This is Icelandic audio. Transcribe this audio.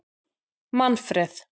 Manfreð